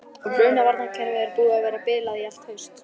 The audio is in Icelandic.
Og brunavarnarkerfið var búið að vera bilað í allt haust.